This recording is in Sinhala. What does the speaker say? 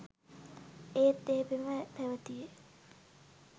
ඒත් ඒ පෙම පැවැතියේ